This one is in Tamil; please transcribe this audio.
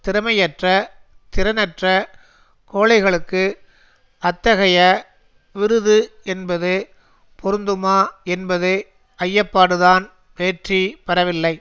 திறமையற்ற திறனற்ற கோழைகளுக்கு அத்தகைய விருது என்பது பொருந்துமா என்பது ஐயப்பாடுதான் வெற்றி பெறவில்லை